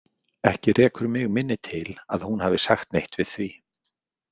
Ekki rekur mig minni til að hún hafi sagt neitt við því.